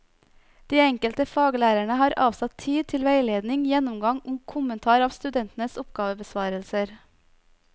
De enkelte faglærerne har avsatt tid til veiledning, gjennomgang og kommentar av studentenes oppgavebesvarelser.